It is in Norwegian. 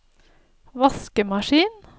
vaskemaskin